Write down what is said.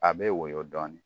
A bɛ wɔyɔ dɔɔni.